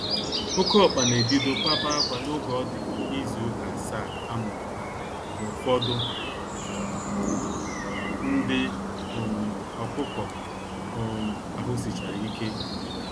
Oke ọkpa na ebido kwaba akwa n'oge ọdi ịzụ ụka asaa amuru ha na ụfọdụ ndị um ọkụkọ um ahụ sichárá ike.